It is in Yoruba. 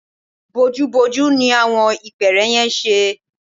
Bojúbojú ní àwọn ìpẹ́ẹ́rẹ́ yẹn ń ṣe